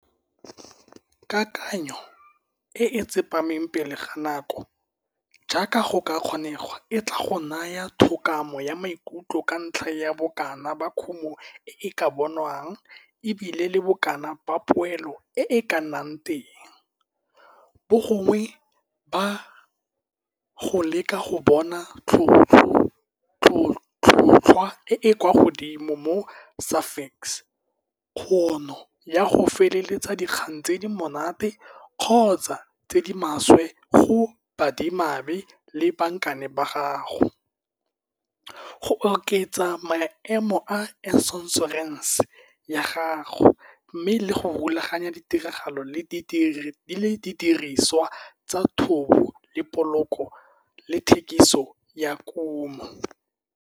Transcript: Kakanyetso e e tsepameng pele ga nako jaaka go ka kgonegwa e tlaa go naya thokgamo ya maikutlo ka ntlha ya bokana ba kumo e e ka bonwang e bile le bokana ba poelo e e ka nnang teng, bogongwe ba go leka go bona tlhotlhwa e e kwa godimo mo Safex, kgono ya go feteletsa dikgang tse di monate kgotsa tse di maswe go baadimamadi le bankane ba gago, go oketsa maemo a ênšorênsê ya gago, mme le go rulaganya ditiragalo le didiriswa tsa thobo le poloko le thekiso ya kumo.